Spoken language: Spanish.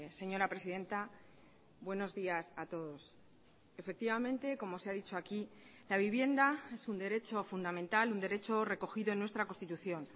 señora presidenta buenos días a todos efectivamente como se ha dicho aquí la vivienda es un derecho fundamental un derecho recogido en nuestra constitución